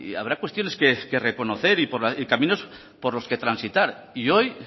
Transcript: habrá cuestiones que reconocer y caminos por los que transitar y hoy